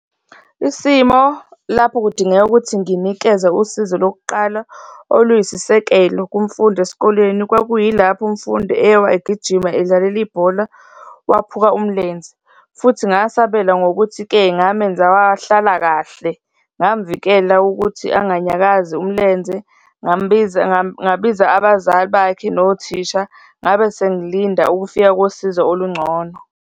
Isimo lapho kudingeka ukuthi nginikeze usizo lokuqala oluyisisekelo kumfundi esikoleni, kwakuyilapho umfundi ewa egijima edlalela ibhola, waphuka umlenze. Futhi ngasabela ngokuthi-ke, ngamenza wahlala kahle, ngamvikela ukuthi anganyakazi umlenze, ngambiza, ngabiza abazali bakhe nothisha. Ngabe sengilinda ukufika kosizo olungcono.